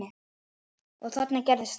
Og þarna gerðist það.